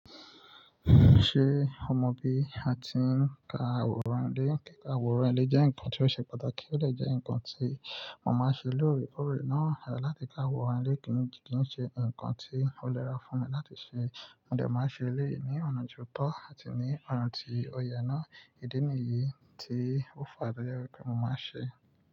Ṣé o mọ bí a ti ń ka àwòrán ile? Àwòrán ile jẹ́ ǹkan tí ó ṣe pàtàkì, ó dẹ jẹ́ ǹkan tí mo máa ṣe lóore koòrè náà láti ka àwòrán ile kì í ṣe ǹkan tí ó nira fún mi láti ṣe. Mo dẹ máa n ṣe eléyìí ní ọ̀nà ti o tọ́ àti ní ọ̀nà tí ó yẹ náà. Ìdí nìyí tí ó fa to jẹ wípé mo máa n ṣe.